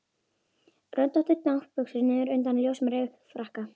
Röndóttar náttbuxur niður undan ljósum rykfrakka.